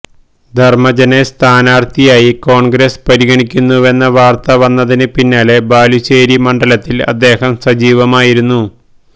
ധർമജനെ സ്ഥാനാർത്ഥിയായി കോൺഗ്രസ് പരിഗണിക്കുന്നുവെന്ന വാർത്ത വന്നതിന് പിന്നാലെ ബാലുശ്ശേരി മണ്ഡലത്തിൽ അദ്ദേഹം സജീവമായിരുന്നു